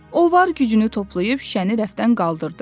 O var gücünü toplayıb şüşəni rəfdən qaldırdı.